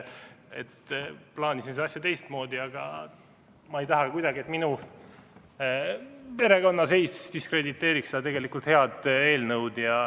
Plaanisin seda asja teistmoodi, aga ma ei taha kuidagi, et minu perekonnaseis diskrediteeriks seda tegelikult head eelnõu.